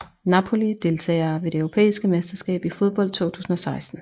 Napoli Deltagere ved det europæiske mesterskab i fodbold 2016